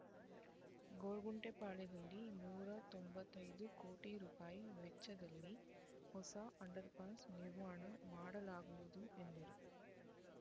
ಗೊರಗುಂಟೆಪಾಳ್ಯದಲ್ಲಿ ನೂರ ತೊಂಬತ್ತೈ ದು ಕೋಟಿ ರೂಪಾಯಿ ವೆಚ್ಚದಲ್ಲಿ ಹೊಸ ಅಂಡರ್‌ಪಾಸ್ ನಿರ್ಮಾಣ ಮಾಡಲಾಗುವುದು ಎಂದರು